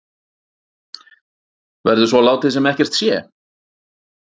Verður svo látið sem ekkert sé?